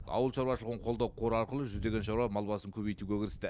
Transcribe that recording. ауыл шаруашылығын қолдау қоры арқылы жүздеген шаруа мал басын көбейтуге кірісті